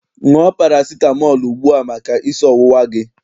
Ṅụọ parasitamọọlụ ugbua maka isi ọwụwa gị!